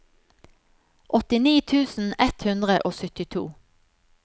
åttini tusen ett hundre og syttito